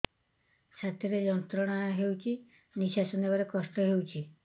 ଛାତି ରେ ଯନ୍ତ୍ରଣା ହେଉଛି ନିଶ୍ଵାସ ନେବାର କଷ୍ଟ ହେଉଛି